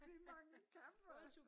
Vi mangler kaffe